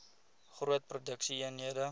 groot produksie eenhede